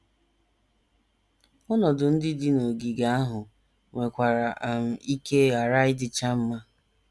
Ọnọdụ ndị dị n’ogige ahụ nwekwara um ike ghara ịdịcha mma.